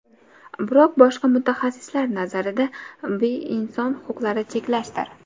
Biroq boshqa mutaxassislar nazarida bi inson huquqlarini cheklashdir.